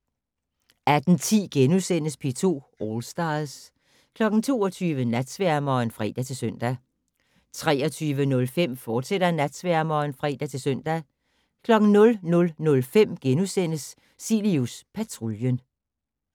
18:10: P2 All Stars * 22:00: Natsværmeren (fre-søn) 23:05: Natsværmeren, fortsat (fre-søn) 00:05: Cilius Patruljen *